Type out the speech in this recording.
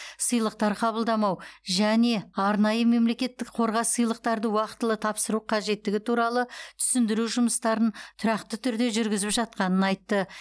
сыйлықтар қабылдамау және арнайы мемлекеттік қорға сыйлықтарды уақытылы тапсыру қажеттігі туралы түсіндіру жұмыстарын тұрақты түрде жүргізіп жатқанын айтты